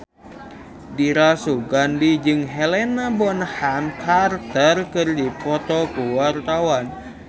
Dira Sugandi jeung Helena Bonham Carter keur dipoto ku wartawan